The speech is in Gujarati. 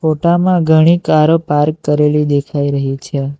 ફોટામાં ઘણી કારો પાર્ક કરેલી દેખાઈ રહી છે.